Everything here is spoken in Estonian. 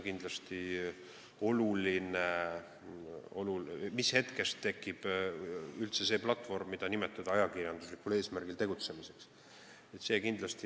Mis hetkest tekib üldse see platvorm, mida saab nimetada ajakirjanduslikul eesmärgil tegutsemiseks?